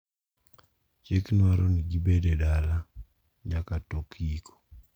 Chik dwaro ni gibet e dala nyaka tok yiko.